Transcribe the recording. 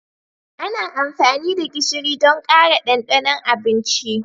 Ana amfani da gishiri don ƙara ɗanɗanon abinci.